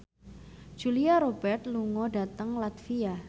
Julia Robert lunga dhateng latvia